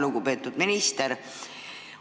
Lugupeetud minister!